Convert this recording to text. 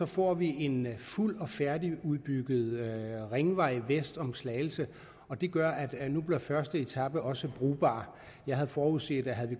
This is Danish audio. får vi en fuld og færdigudbygget ringvej vest om slagelse og det gør at nu bliver første etape også brugbar jeg havde forudset at havde vi